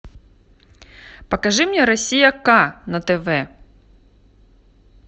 покажи мне россия к на тв